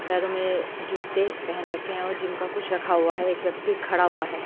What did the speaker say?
पैरों में जूते पहन रखे हैं और जिम का कुछ रखा हुआ है एक व्यक्ति खड़ा हुआ है।